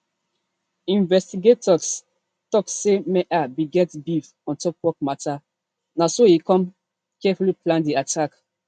investigators tok say meher bin get beef on top of work mata na so e come carefully plan di attack